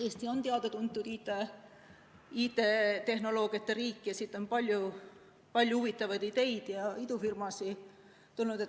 Eesti on teada-tuntud IT-tehnoloogiate riik ja siit on palju-huvitavaid ideid ja idufirmasid tulnud.